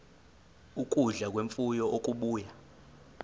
ukudla kwemfuyo okubuya